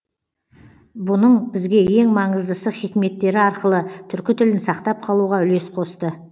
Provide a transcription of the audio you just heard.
бұның бізге ең маңыздысы хикметтері арқылы түркі тілін сақтап қалуға үлес қосты